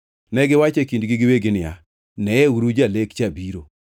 Negiwacho e kindgi giwegi niya, “Neuru jalek lek cha biro!